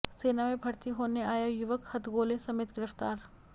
सेना में भर्ती होने आया युवक हथगोले समेत गिरफ्तार